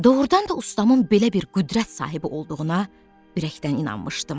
Doğrudan da ustamın belə bir qüdrət sahibi olduğuna ürəkdən inanmışdım.